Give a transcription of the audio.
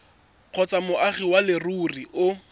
kgotsa moagi wa leruri o